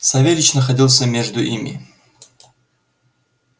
савельич находился между ими